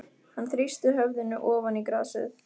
Hann þrýsti höfðinu ofan í grasið.